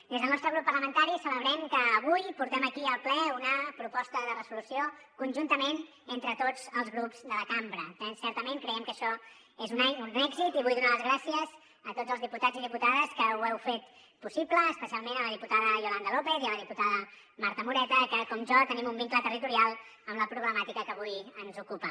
des del nostre grup parlamentari celebrem que avui portem aquí al ple una proposta de resolució conjuntament entre tots els grups de la cambra eh certament creiem que això és un èxit i vull donar les gràcies a tots els diputats i diputades que ho heu fet possible especialment a la diputada yolanda lópez i a la diputada marta moreta que com jo tenim un vincle territorial amb la problemàtica que avui ens ocupa